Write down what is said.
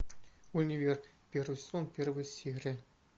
универ первый сезон первая серия